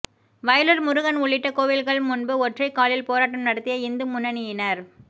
வயலூர் முருகன் உள்ளிட்ட கோயில்கள் முன்பு ஒற்றை காலில் போராட்டம் நடத்திய இந்து முன்னணியினர்